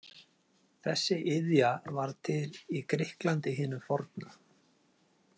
Þessi iðja varð til í Grikklandi hinu forna.